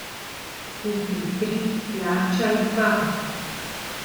Kupi tri, plačaj dva!